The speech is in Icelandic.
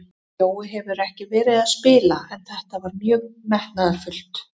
Jói hefur ekki verið að spila en þetta var mjög metnaðarfullt.